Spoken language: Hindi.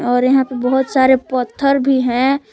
और यहाँ पर बहुत सारे पत्थर भी हैं।